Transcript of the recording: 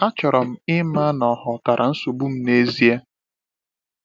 Achọrọ m ịma na ọ ghọtara nsogbu m n’ezie.